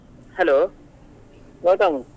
Hello Gautam.